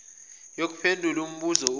yokuphendula umbuzo othi